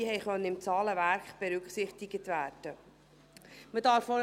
Diese konnten im Zahlenwerk berücksichtigt werden.